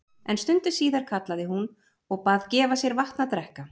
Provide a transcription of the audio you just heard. En stundu síðar kallaði hún og bað gefa sér vatn að drekka.